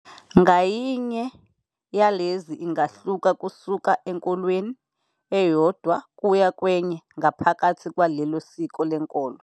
Ngayinye yalezi ingahluka kusuka enkolweni eyodwa kuya kwenye, ngaphakathi kwalelo siko lenkolo.